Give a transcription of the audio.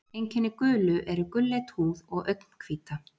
Einkenni gulu eru gulleit húð og augnhvíta.